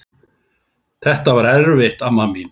Þetta var erfitt amma mín.